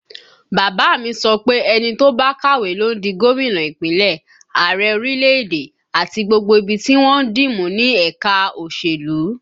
Bàbá a mi sọ pé ẹni tó bá kàwé ló ń di gómìnà Ìpínlẹ̀, Ààrẹ orílẹ̀èdè, àti gbogbo ibi tí wọ́n ń dì mú ní ẹ̀ka òṣèlú